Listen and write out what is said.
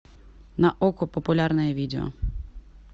на окко популярное видео